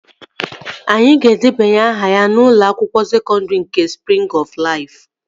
Anyị ga-edebanye aha ya n'ụlọ akwụkwọ sekọndri nke Sprịng ọf Laifu